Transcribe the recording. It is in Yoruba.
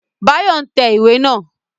Báyọ̀ n tẹ̀ iwé naa